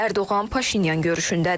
Ərdoğan Paşinyan görüşündədir.